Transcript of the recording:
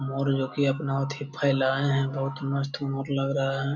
मोर जो कि अपना अथी फैलाये है बहुत मस्त मोर लग रहा है।